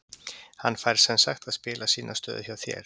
Hann fær semsagt að spila sína stöðu hjá þér?